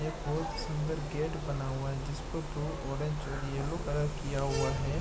एक बहुत सुंदर गेट बना हुआ है जिस पर ब्लू ऑरेंज और येलो कलर की किया हुआ है।